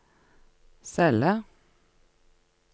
celle